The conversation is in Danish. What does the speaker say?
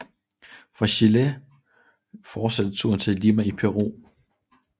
Fra Chile fortsatte turen til Lima i Peru